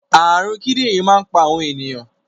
Àrùn kidinrin máa ń pa àwọn ènìyàn